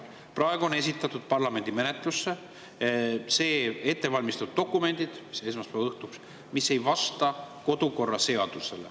Esmaspäeva õhtuks esitati parlamendi menetlusse ettevalmistatud dokumendid, mis ei vasta kodukorraseadusele.